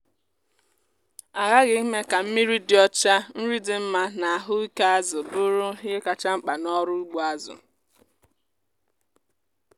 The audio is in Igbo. a ghaghị ime ka mmiri dị ọcha nri dị mma na ahụ ike azụ bụrụ ihe kacha mkpa n’ọrụ ugbo azụ.